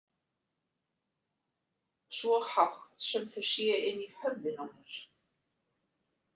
Svo hátt sem þau séu inni í höfðinu á mér.